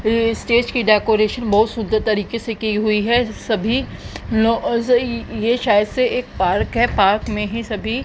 ये स्टेज की डेकोरेशन बहुत सुंदर तरीके से की हुई है सभी ये शायद से एक पार्क है पार्क में ही सभी--